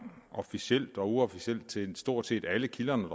officielt og uofficielt til stort set alle kilderne